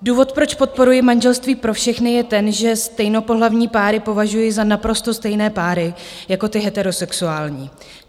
Důvod, proč podporuji manželství pro všechny, je ten, že stejnopohlavní páry považuji za naprosto stejné páry jako ty heterosexuální.